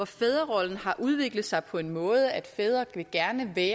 fædrerollen har udviklet sig på en sådan måde at fædre gerne vil